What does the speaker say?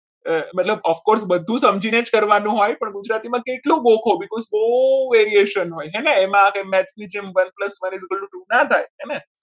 મતલબ બધું of course સમજીને જ કરવાનું હોય પણ ગુજરાતીમાં કેટલું ગોખો because બહુ variation હોય છે ને એમાં match ના જેમ one is equal to ના થાય હે ને